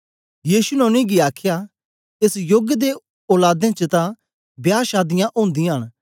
यीशु ने उनेंगी आखया एस योग दियें औलादें च तां बियाहशादीयां ओदीयां न